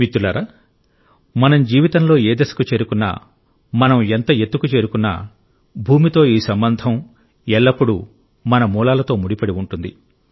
మిత్రులారా మనం జీవితంలో ఏ దశకు చేరుకున్నా మనం ఎంత ఎత్తుకు చేరుకున్నా భూమితో ఈ సంబంధం ఎల్లప్పుడూ మన మూలాలతో ముడిపడి ఉంటుంది